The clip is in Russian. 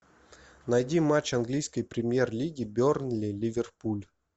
найди матч английской премьер лиги бернли ливерпуль